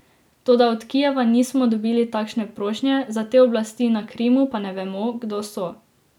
Toda od Kijeva nismo dobili takšne prošnje, za te oblasti na Krimu pa ne vemo, kdo so.